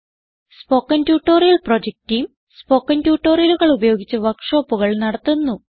spoken tutorial project team spoken ട്യൂട്ടോറിയലുകൾ ഉപയോഗിച്ച് വർക്ക് ഷോപ്പുകൾ നടത്തുന്നു